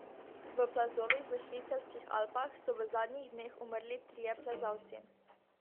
V plazovih v švicarskih Alpah so v zadnjih dneh umrli trije plezalci.